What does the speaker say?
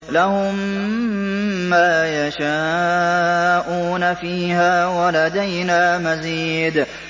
لَهُم مَّا يَشَاءُونَ فِيهَا وَلَدَيْنَا مَزِيدٌ